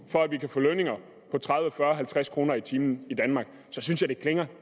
for at vi kan få lønninger på tredive fyrre halvtreds kroner i timen i danmark så synes jeg det klinger